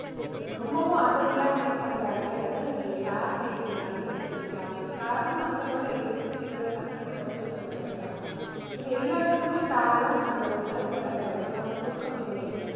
ரொம்பவும் அசதியா feel பண்றாங்கங்கிறத நீங்க யாரை கேட்டீங்கன்னாளுமே தெரிஞ்சுக்கலாம் அதுக்கு காரணம் மக்களோட எதிர்ப்பு திறன் சக்தி குறைஞ்சுகிட்டு வர்றது தான் இது எல்லாத்துக்குமே காரணம் நம்மளோட உணவு பழக்க வழக்கம் தூக்கமின்மை